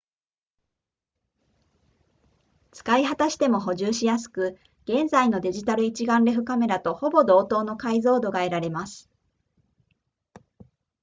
使い果たしても補充しやすく現在のデジタル一眼レフカメラとほぼ同等の解像度が得られます